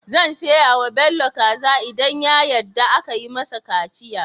Zan siya wa Bello kaza idan ya yadda akayi mai kaciya